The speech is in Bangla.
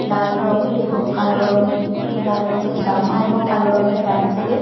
লাল রঙের এবং কালো রঙের লাল রঙের জামা এবং কালো রঙের প্যান পরে--